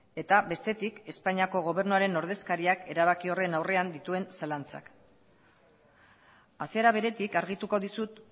eta bestetik espainiako gobernuaren ordezkaria erabaki horren aurrean dituen zalantzak hasiera beretik argituko dizut